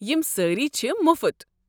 یم سٲری چھ مُفت۔